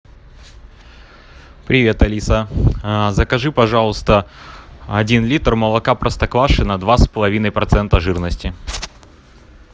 привет алиса закажи пожалуйста один литр молока простоквашино два с половиной процента жирности